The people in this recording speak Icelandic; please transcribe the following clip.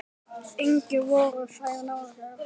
Engir voru þar nálægir aðrir.